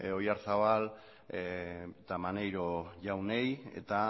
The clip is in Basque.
oyarzabal eta maneiro jaunei eta